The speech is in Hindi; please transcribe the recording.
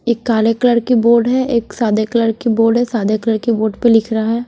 एक काले कलर की बोर्ड है एक सादे कलर की बोर्ड सादे कलर के बोर्ड पर लिख रहा है।